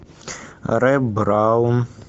рэй браун